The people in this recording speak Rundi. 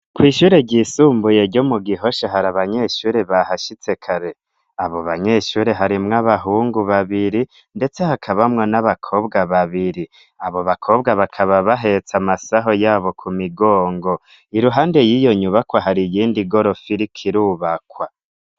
Kw'ishure ryisumbuye ryo mu gihosha hari abanyeshuri ba hashitse kare abo banyeshuri harimwo abahungu babiri, ndetse hakabamwa n'abakobwa babiri. Abo bakobwa bakaba bahetsa amasaho yabo ku migongo i ruhande y'iyo nyubakwa hari iyindi gorofili kirubakwa.